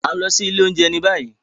A n lọ si ile ounjẹ ni bayi.